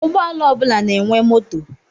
Ụgbọala ọ bụla na-enwe moto.